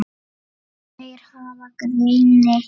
Þeir hafa greini